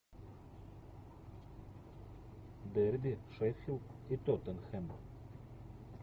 дерби шеффилд и тоттенхэм